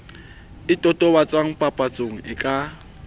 e totobatswang papatsong e ka